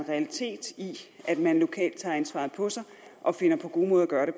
realitet i at man lokalt tager ansvaret på sig og finder på gode måder at gøre